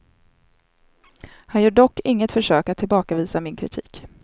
Han gör dock inget försök att tillbakavisa min kritik.